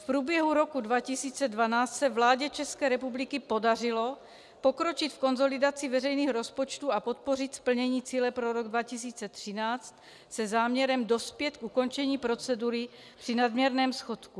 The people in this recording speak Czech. V průběhu roku 2012 se vládě České republiky podařilo pokročit v konsolidaci veřejných rozpočtů a podpořit splnění cíle pro rok 2013 se záměrem dospět k ukončení procedury při nadměrném schodku.